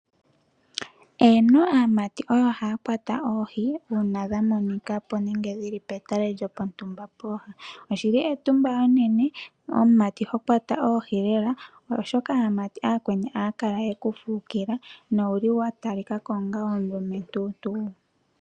Eeno, aamati oyo haya kwata oohi uuna dha monika po nenge dhi li petale lyo pontumba po. Oshi li etumba enene omumati ho kwata oohi lela, oshoka aamati ooyakweni aya kala ye ku fukila, na owuli wa talika ko onga omulumentuntu.